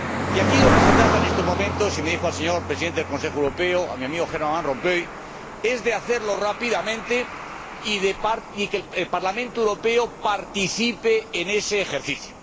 Y aquí de lo que se trata en estos momentos —y me dirijo al señor Presidente del Consejo Europeo, a mi amigo Herman Van Rompuy— es de hacerlo rápidamente y de que el Parlamento Europeo participe en ese ejercicio.